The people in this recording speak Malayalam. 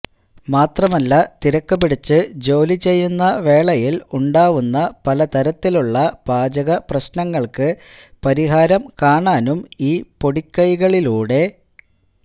മാത്രമല്ല തിരക്ക് പിടിച്ച് ജോലി ചെയ്യുന്ന വേളയില് ഉണ്ടാവുന്ന പല തരത്തിലുള്ള പാചകപ്രശ്നങ്ങള്ക്ക് പരിഹാരം കാണാനും ഈ പൊടിക്കൈകളിലൂടെ